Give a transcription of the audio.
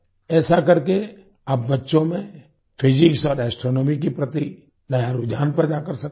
ऐसा करके आप बच्चों में फिजिक्स और एस्ट्रोनॉमी के प्रति नया रुझान पैदा कर सकते हैं